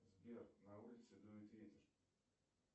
сбер на улице дует ветер